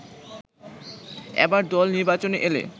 এবার দল নির্বাচনে এলে